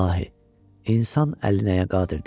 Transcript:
İlahi, insan əli nəyə qadirdir?